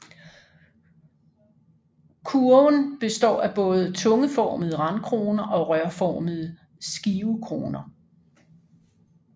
Kurven består af både tungeformede randkroner og rørformede skivekroner